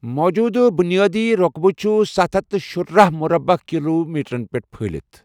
موجودٕ بُنیٲدی رۄقبہِ چُھ ستھَ ہتھ شُراہ مٗربعہٕ کِلومیٖٹرن پٮ۪ٹھ پۭھہلِتھ ۔